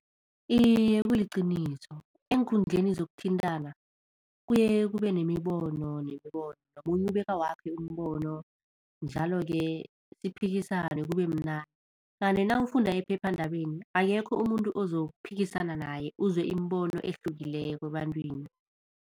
Iye kuliqiniso, eenkundleni zokuthintana kuye kube nemibono, nemibono nomunye ubeka wakhe umbono njalo-ke siphikisane kubemnandi, kanti nawufunda ephephandabeni akekho umuntu ozokuphikisana naye uzwe imibono ehlukileko ebantwini.